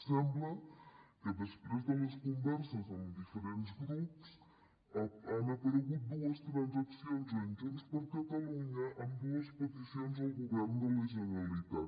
sembla que després de les converses amb diferents grups han aparegut dues transaccions amb junts per catalunya amb dues peticions al govern de la generalitat